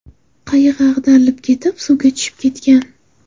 Qayig‘i ag‘darilib ketib, suvga tushib ketgan.